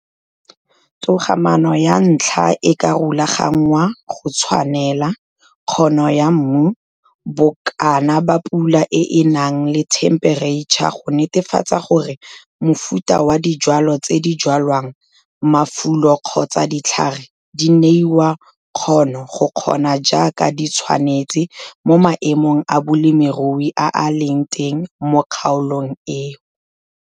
Togamaano ya ntlha e ka rulagangwa go tshwanela, kgono ya mmu, bokana ba pula e e nang le thempereitšha go netefatsa gore mofuta wa dijwalwa tse di jwalwang, mafulo kgotsa ditlhare di neiwe kgono go kgona jaaka di tshwanetse mo maemong a bolemirui a a leng teng mo kgaolong eo.